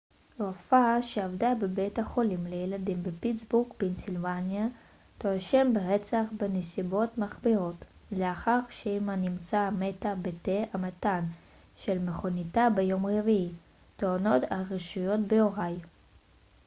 רופאה שעבדה בבית החולים לילדים בפיטסבורג פנסילבניה תואשם ברצח בנסיבות מחמירות לאחר שאמה נמצאה מתה בתא המטען של מכוניתה ביום רביעי טוענות הרשויות באוהיו